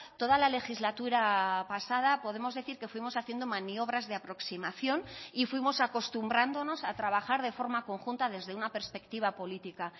toda la legislatura pasada podemos decir que fuimos haciendo maniobras de aproximación y fuimos acostumbrándonos a trabajar de forma conjunta desde una perspectiva política